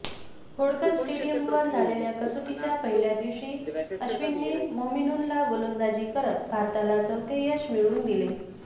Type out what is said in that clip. होळकर स्टेडियमवर झालेल्या कसोटीच्या पहिल्या दिवशी अश्विनने मोमीनूलला गोलंदाजी करत भारताला चौथे यश मिळवून दिले